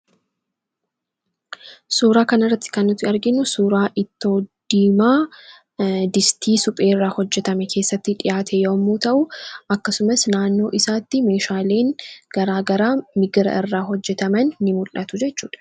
Suuraa kana irratti kan nuti arginu suuraa ittoo Diimaa Distii supheerraa hojjetame keessatti dhi'aate yammuu ta'u; Akkasumas naannoo isaatti meeshaaleen garaa garaa migira irraa hojjetaman inmul'atu jechuudha.